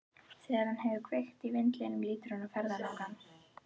Þegar hann hefur kveikt í vindlinum lítur hann á ferðalang.